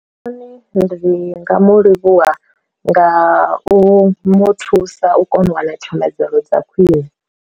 Ndi nga mu livhuwa nga u mu thusa u kona u wana tshomedzo dza khwiṋe.